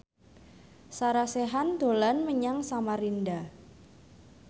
Sarah Sechan dolan menyang Samarinda